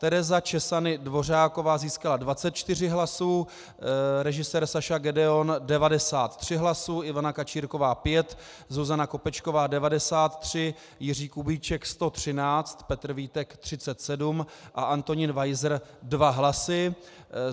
Tereza Czesany Dvořáková získala 24 hlasů, režisér Saša Gedeon 93 hlasů, Ivana Kačírková 5, Zuzana Kopečková 93, Jiří Kubíček 113, Petr Vítek 37 a Antonín Weiser 2 hlasy.